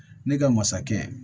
Ne ka masakɛ